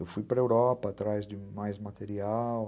Eu fui para a Europa atrás de mais material.